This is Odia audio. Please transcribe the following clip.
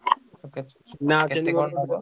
କେ କେତେ କଣ ନବ?